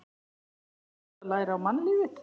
Nú þarftu að læra á mannlífið.